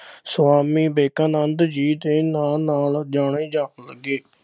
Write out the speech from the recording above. ਸੁਆਮੀ ਵਿਵੇਕਾਨੰਦ ਜੀ ਦੇ ਨਾ ਨਾਲ ਜਾਣੇ ਜਾਣ ਲੱਗੇ।